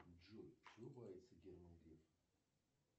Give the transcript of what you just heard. джой чего боится герман греф